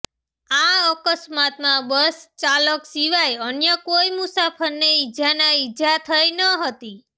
આ અકસ્માતમાં બસ ચાલક સિવાય અન્ય કોઇ મુસાફરને ઇજાનાં ઇજા થઇ ન હતી